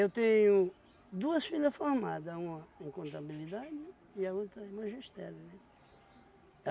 Eu tenho duas filhas formadas, uma em contabilidade e a outra em magistério, né?